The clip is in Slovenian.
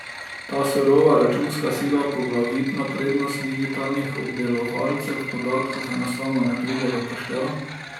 Tu surova računska sila, poglavitna prednost digitalnih obdelovalcev podatkov, enostavno ne pride v poštev.